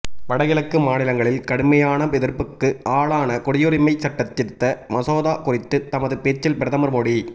வடகிழக்கு மாநிலங்களில் கடுமையான எதிர்ப்புக்கு ஆளான குடியுரிமை சட்டத்திருத்த மசோதா குறித்து தமது பேச்சில் பிரதமர் மோடி